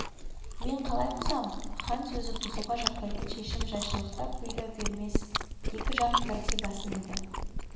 мен қалай бұзам хан сөзі бұзуға жатпайтын шешім жайшылықта бұйда бермес екі жақ бірдей басын иді